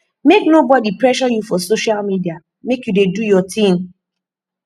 make nobodi pressure you for social media make you dey do your tin